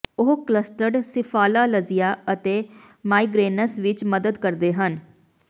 ਉਹ clustered cephalalgia ਅਤੇ migraines ਵਿੱਚ ਮਦਦ ਕਰਦੇ ਹਨ